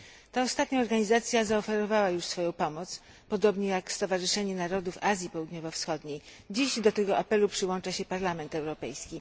Ta ostatnia organizacja zaoferowała już swoją pomoc. Podobnie jak Stowarzyszenie Narodów Azji Południowo Wschodniej. Dziś do tego apelu przyłącza się Parlament Europejski.